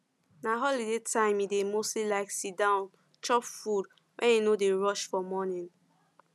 na holiday time e dey mostly like sit down chop food when e no dey rush for morning